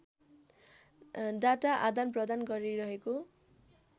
data आदानप्रदान गरिरहेको